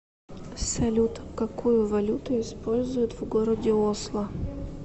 салют какую валюту используют в городе осло